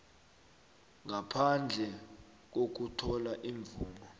ngaphandle kokuthola imvumo